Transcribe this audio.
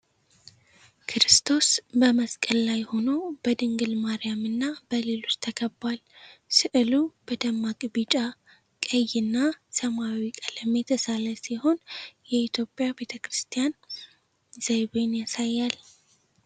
ክርስቶስ በመስቀል ላይ ሆኖ፣ በድንግል ማርያምና በሌሎች ተከቧል። ሥዕሉ በደማቅ ቢጫ፣ ቀይ እና ሰማያዊ ቀለም የተሳለ ሲሆን የኢትዮጵያ ቤተ ክርስቲያን ዘይቤን ያሳያል።